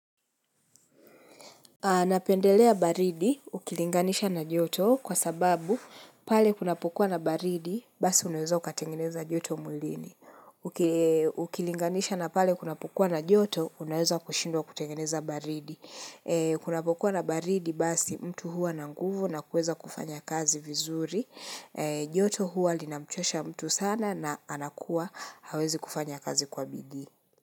Napendelea baridi ukilinganisha na joto kwa sababu pale kuna pokuwa na baridi basi unaweza ukatengeneza joto mwilini. Ukilinganisha na pale kuna pokuwa na joto unaweza kushindwa kutengeneza baridi. Kuna pokuwa na baridi basi mtu huwa nanguvu na kuweza kufanya kazi vizuri. Joto huwa linamchosha mtu sana na anakuwa hawezi kufanya kazi kwa bidii.